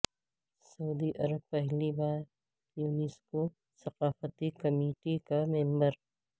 سعودی عرب پہلی بار یونیسکو ثقافتی کمیٹی کا ممبر